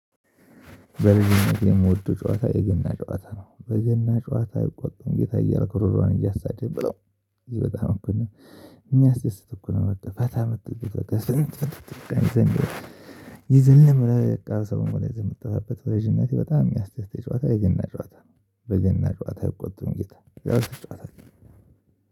በልጅነቴ የምወደው ጨዋታ የገና ጨዋታ ነው። "በገና ጨዋታ አይቆጡም ጌታ" እያልኩ ሩሯን እያሳደድኩ ብለው በጣም እኮ ነው የሚያስደስት እኮ ነው በቃ ፈታ በምትልበት በቃ የዘለም በየቃ ሰው ይዘን የምትጠፋበት በልጅነቴ በጣም የሚያስደስተኝ ጨዋታ የገና ጨዋታ በገና ጨዋታ አይቆጡም ጌታ ጨዋታ ጨዋታ